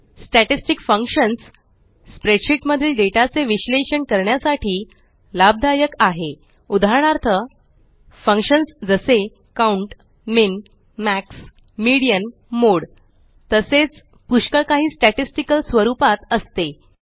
statistic functions spreadsheet मधील data चे विश्लेषण करण्यासाठी लाभदायक आहे उदाहरणार्थ फंक्शन्स जसे count min max median mode तसेच पुष्कळ काही स्टॅटिस्टिकल स्वरुपात असते